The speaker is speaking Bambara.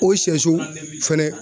O sɛso fɛnɛ